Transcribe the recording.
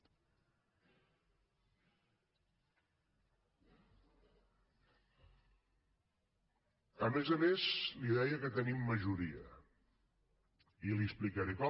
a més a més li deia que tenim majoria i li explicaré com